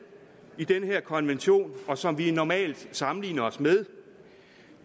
i den her konvention og som vi normalt sammenligner os med